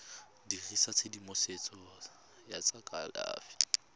dirisa tshedimosetso ya tsa kalafi